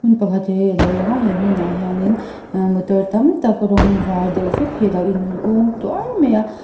pakhat hi alo lang a he hmun ah hian ah motor tam tak rawng var deuh vek hi alo in hung tuar mai a.